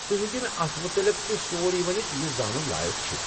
تُہۍ ہیٚکو مےٚ اتھ متعلق تہِ سورٕے ؤنتھ یہِ زانُن لایق چھُ۔